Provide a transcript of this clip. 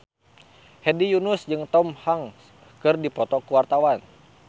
Hedi Yunus jeung Tom Hanks keur dipoto ku wartawan